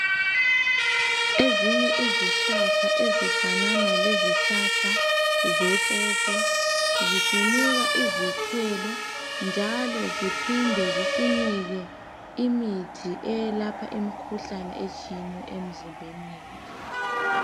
Ezinye izihlahla ezifanana lezihlahla zepopo zisinika izithelo njalo ziphinde zisinike imithi eyelapha imikhuhlane etshiyeneyo emizimbeni yethu.